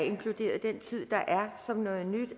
som noget nyt